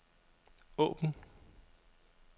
åbn